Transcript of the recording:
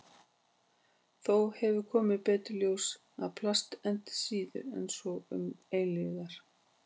Þó hefur komið betur í ljós að plast endist síður en svo um til eilífðar.